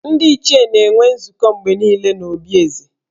Ndị Ichie na-enwe nzukọ mgbe niile n’obi Eze